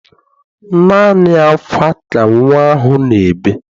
Naanị ákwá ka nnwa ahụ na-ebe.